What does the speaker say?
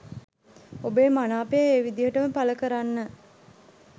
ඔබේ මනාපය ඒ විදිහටම පල කරන්න.